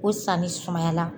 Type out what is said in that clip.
O sanni sumayala.